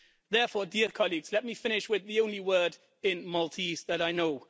Therefore, dear colleagues, let me finish with the only word in Maltese that I know.